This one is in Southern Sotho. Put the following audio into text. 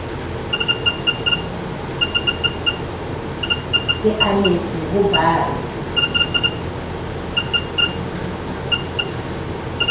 ke anetse ho ba re